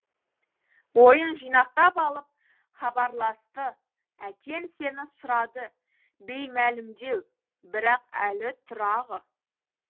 ойын жинақтап алып хабарласты әкең сені сұрады беймәлімдеу бірақ әлі тұрағы